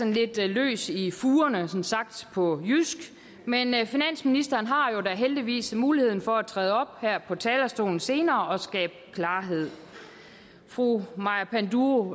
lidt løs i fugerne sagt på jysk men finansministeren har jo da heldigvis mulighed for at træde op på talerstolen senere og skabe klarhed fru maja panduro